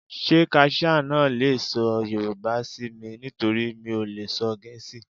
Ṣé kaṣíá náà le sọ Yorùbá sí mi? nítorí mi ò lè sọ Gẹ̀ẹ́sì.